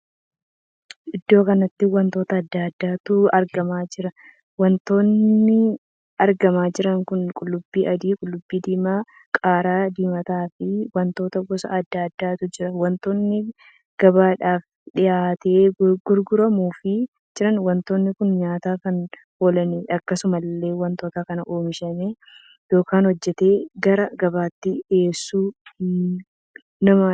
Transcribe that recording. Iddoo kanatti wantoota addaa addaatu argamaa jira. wantoonni argamaa jiran kun qullubbii adii, qullubbii diimaa, qaaraa diimataa fi wantoota gosa addaa addaatu jira. wantoonni gabaadhaaf dhihaatee gurguramuuf jira. wantootni kun nyaataaf kan oolaniidha. akkasumallee wantoota kan ooomishee ykn hojjetee gara gabaatti dhiheessu namadha.